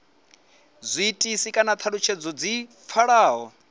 zwiitisi kana thalutshedzo dzi pfalaho